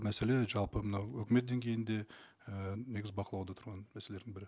мәселе жалпы мынау өкімет деңгейінде і негізі бақылауда тұрған мәселелердің бірі